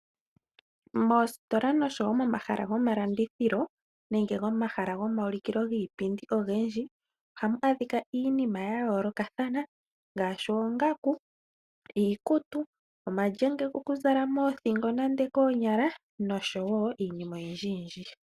Moositola nosho wo momahala gomalandithilo nenge momahala gomaulikilo giipindi ogendji ohamu adhika iinima yayoolokathana ngaashi oongaku, iikutu, omalyenge gokuzala moothingo nande koonyala nosho wo iinima oyindjiyindji.